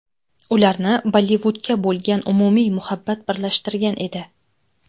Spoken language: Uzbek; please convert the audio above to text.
Ularni Bollivudga bo‘lgan umumiy muhabbat birlashtirgan edi.